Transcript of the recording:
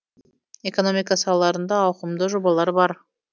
экономика салаларында ауқымды жобалар бар